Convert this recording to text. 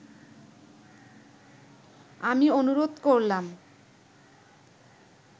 আমি অনুরোধ করলাম